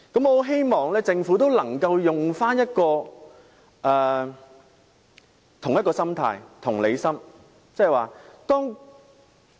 我很希望政府也能有這種心態，表現出同理心。